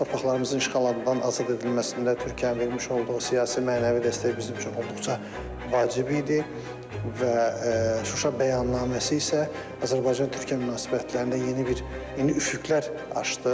Torpaqlarımızın işğaldan azad edilməsində Türkiyənin vermiş olduğu siyasi-mənəvi dəstək bizim üçün olduqca vacib idi və Şuşa bəyannaməsi isə Azərbaycan-Türkiyə münasibətlərində yeni bir yeni üfüqlər açdı.